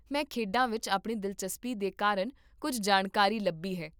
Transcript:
ਮੈਂ ਖੇਡਾਂ ਵਿੱਚ ਆਪਣੀ ਦਿਲਚਸਪੀ ਦੇ ਕਾਰਨ ਕੁੱਝ ਜਾਣਕਾਰੀ ਲੱਭੀ ਹੈ